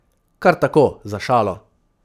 Kar tako, za šalo.